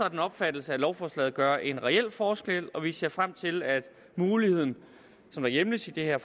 af den opfattelse at lovforslaget gør en reel forskel og vi ser frem til at muligheden som hjemles i det her